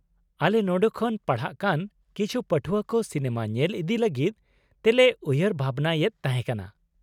ᱟᱞᱮ ᱱᱚᱰᱮ ᱠᱷᱚᱱ ᱯᱟᱲᱦᱟᱜ ᱠᱟᱱ ᱠᱤᱪᱷᱩ ᱯᱟᱹᱴᱷᱣᱟᱹ ᱠᱚ ᱥᱤᱱᱮᱢᱟ ᱧᱮᱞ ᱤᱫᱤ ᱞᱟᱹᱜᱤᱫ ᱛᱮᱞᱮ ᱩᱭᱦᱷᱟᱹᱨ ᱵᱷᱟᱵᱱᱟᱭᱮᱫ ᱛᱟᱦᱮᱸ ᱠᱟᱱᱟ ᱾